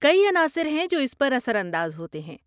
کئی عناصر ہیں جو اس پر اثر انداز ہوتے ہیں۔